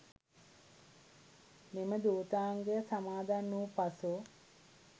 මෙම ධූතාංගය සමාදන් වූ පසු